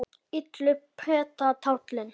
illu pretta táli